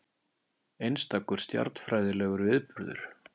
Einstakur stjarnfræðilegur viðburður